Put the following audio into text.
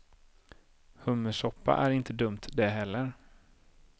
Hummersoppa är inte dumt det heller.